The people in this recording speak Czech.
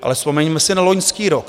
Ale vzpomeňme si na loňský rok.